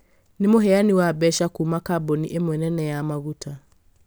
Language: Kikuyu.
nĩ mũheani wa mbeca kuuma kambuni ĩmwe nene ya maguta